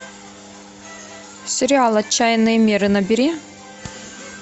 сериал отчаянные меры набери